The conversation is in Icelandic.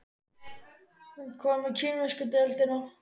En hvað með kínversku deildina?